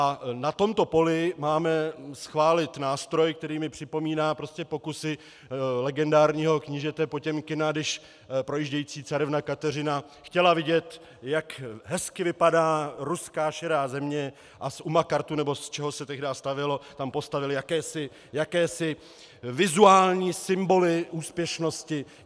A na tomto poli máme schválit nástroj, který mi připomíná prostě pokusy legendárního knížete Potěmkina, když projíždějící carevna Kateřina chtěla vidět, jak hezky vypadá ruská širá země, a z umakartu, nebo z čeho se tehdy stavělo, tam postavili jakési vizuální symboly úspěšnosti.